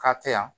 K'a tɛ yan